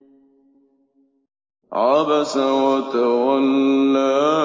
عَبَسَ وَتَوَلَّىٰ